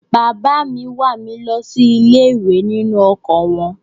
Bàbá mi wà mí lọ sí ilé-ìwé nínú ọkọ̀ wọn.